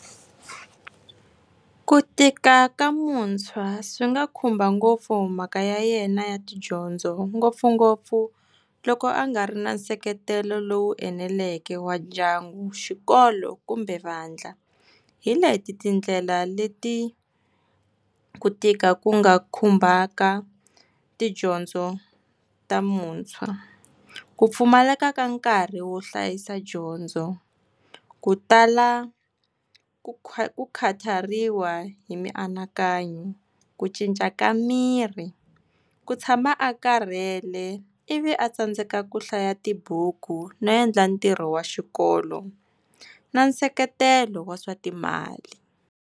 Ku tika ka muntshwa swi nga khumba ngopfu mhaka ya yena ya tidyondzo ngopfungopfu loko a nga ri na nseketelo lowu eneleke wa ndyangu, xikolo kumbe vandla. Hi leti tindlela leti ku tika ku nga khumbaka tidyondzo ta muntshwa, ku pfumaleka ka nkarhi wo hlayisa dyondzo, ku tala ku khatariwa hi mianakanyo ku cinca ka miri ku tshama a karhele, ivi a tsandzekaka ku hlaya tibuku no endla ntirho wa xikolo na nseketelo wa swa timali.